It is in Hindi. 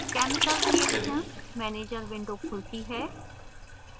chemical reactions manager window खुलती है